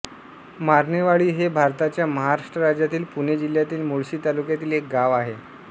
मारणेवाडी हे भारताच्या महाराष्ट्र राज्यातील पुणे जिल्ह्यातील मुळशी तालुक्यातील एक गाव आहे